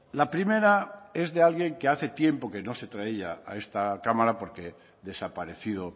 la primera es de alguien que hace tiempo que no se traía a esta cámara porque desaparecido